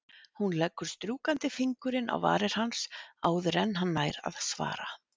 Hún leggur strjúkandi fingurinn á varir hans áður en hann nær að svara.